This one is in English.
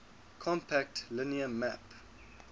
compact linear map